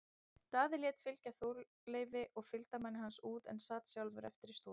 Daði lét fylgja Þorleifi og fylgdarmanni hans út en sat sjálfur eftir í stofunni.